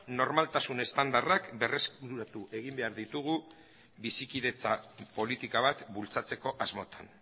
normaltasun estandarrak berreskuratu egin behar ditugu bizikidetza politika bat bultzatzeko asmotan